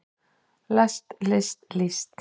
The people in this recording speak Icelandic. lest list líst